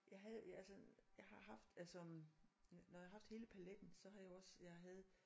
Jeg havde altså jeg har haft altså øh når jeg har haft hele paletten så har jeg jo også jeg havde